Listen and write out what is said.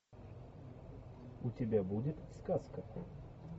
у тебя будет сказка